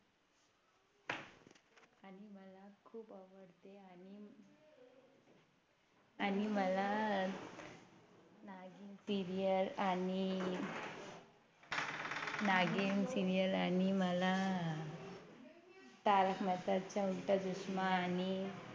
आणि मला नागिण Serial आणि नागिण Serial आणि मला तारक मेहताचा उलटा चष्मा आणि